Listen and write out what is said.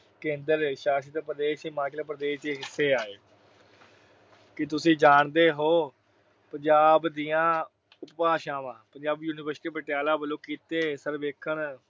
ਕੇਂਦਰ ਸ਼ਾਸਿਤ ਪ੍ਰਦੇਸ਼ ਹਿਮਾਚਲ ਪ੍ਰਦੇਸ਼ ਦੇ ਹਿੱਸੇ ਆਏ। ਕੀ ਤੁਸੀਂ ਜਾਣਦੇ ਹੋ ਪੰਜਾਬ ਦੀਆਂ ਉਪਭਾਸ਼ਾਵਾਂ। ਪੰਜਾਬੀ ਯੂਨੀਵਰਸਿਟੀ ਪਟਿਆਲਾ ਵੱਲੋਂ ਕੀਤੇ ਸਰਵੇਖਣ